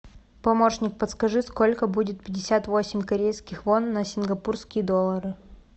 помощник подскажи сколько будет пятьдесят восемь корейских вон на сингапурские доллары